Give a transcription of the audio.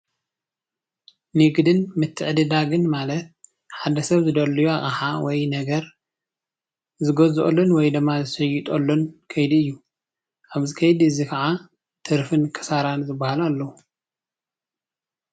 ንግድን ምትዕድዳግን ማለት ሓደ ሰብ ዝደልዮ ኣቅሓ ወይ ነገር ዝገዝኡሉን ወይ ድማ ዝሽየጠሉን ከይዲ እዩ። ኣብዚ ከይዲ እዙይ ኸዓ ትርፍን ኪሳራ ዝባሃሉ ኣለው።